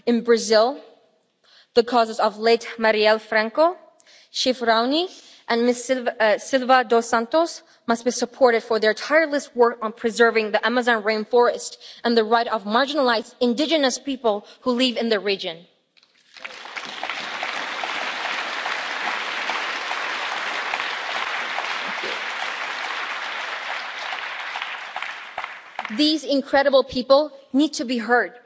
In Brazil, the causes of the late Marielle Franco, Chief Raoni and Ms Silva dos Santos must be supported for their tireless work on preserving the Amazon rainforest and the rights of marginalised indigenous people who live in the region. These incredible people need to be heard.